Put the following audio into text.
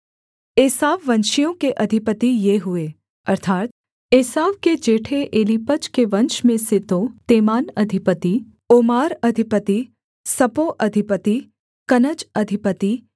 एसाववंशियों के अधिपति ये हुए अर्थात् एसाव के जेठे एलीपज के वंश में से तेमान अधिपति ओमार अधिपति सपो अधिपति कनज अधिपति